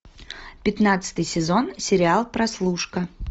пятнадцатый сезон сериал прослушка